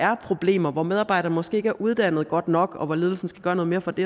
har problemer hvor medarbejderne måske ikke er uddannet godt nok og hvor ledelsen skal gøre noget mere for det